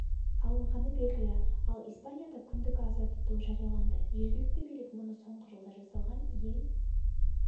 алынғаны белгілі ал испанияда күндік аза тұту жарияланды жергілікті билік мұны соңғы жылда жасалған ең